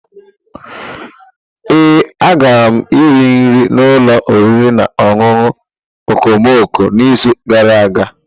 Ee, agara m rie nri n'ụlọ oriri na ọṅụṅụ okomoko n'izu gara aga.